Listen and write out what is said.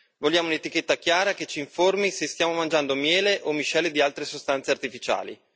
Vogliamo un'etichetta chiara che ci informi se stiamo mangiando miele o miscele di altre sostanze artificiali